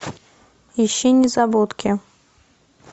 ищи незабудки